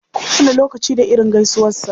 Kowane lokaci da irin gaisuwarsa.